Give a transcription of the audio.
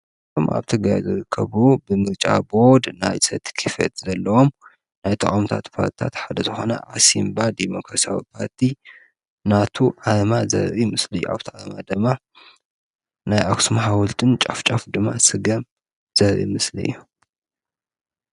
ቶም ኣብቲ ገያዘርከቡ ብምልጫ ቦድ ናይ ሰቲ ኪፈት ዘለዎም ናይ ተዖምታ ት ፍታት ሓደ ዝኾነ ዓስምባ ዲሞከሳዊጳቲ ናቱ ኣማ ዘብቢ ምስሊ ኣውቲ ኣማ ደማ ናይ ኣስም ሓወልጥን ጫፍጫፍ ድማ ሥገም ዘብቢ ምስሊ እዮ